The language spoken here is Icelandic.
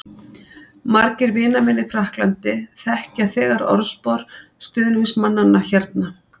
Margir vina minna í Frakklandi þekkja þegar orðspor stuðningsmannanna hérna.